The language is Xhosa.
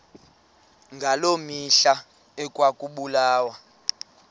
ngaloo mihla ekwakubulawa